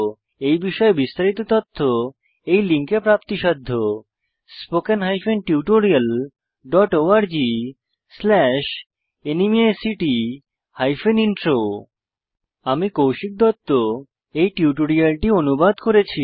এই বিষয়ে বিস্তারিত তথ্য এই লিঙ্কে প্রাপ্তিসাধ্য spoken hyphen tutorial dot org slash NMEICT hyphen intro আমি কৌশিক দত্ত এই টিউটোরিয়ালটি অনুবাদ করেছি